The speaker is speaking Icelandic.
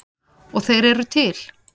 Og þeir eru til.